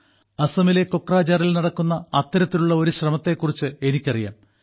അസമിലെ കൊക്രജാറിൽ നടക്കുന്ന അത്തരത്തിലുള്ള ഒരു ശ്രമത്തെക്കുറിച്ച് എനിക്കറിയാം